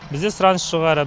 бізде сұраныс жоғары